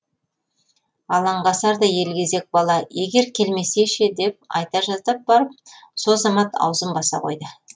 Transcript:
алаңғасар да елгезек бала егер келмесе ше деп айта жаздап барып со замат аузын баса қойды